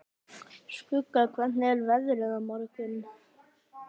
Skugga, hvernig er veðrið á morgun?